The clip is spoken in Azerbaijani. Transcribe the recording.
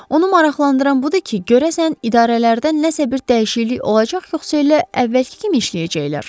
Onu maraqlandıran budur ki, görəsən idarələrdə nəsə bir dəyişiklik olacaq, yoxsa elə əvvəlki kimi işləyəcəklər?